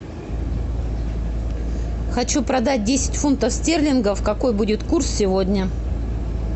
хочу продать десять фунтов стерлингов какой будет курс сегодня